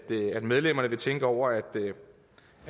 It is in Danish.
medlemmerne vil tænke over at vi